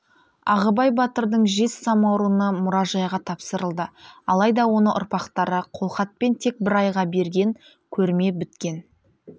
ағыбай батырдың жез самаурыны мұражайға тапсырылды алайда оны ұрпақтары қолхатпен тек бір айға берген көрме біткен